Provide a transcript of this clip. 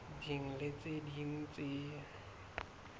ding le tse ding tse